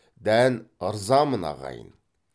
дән ырзамын ағайын